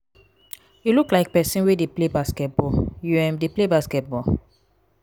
you look like people wey dey play basketball. you um dey play basketball?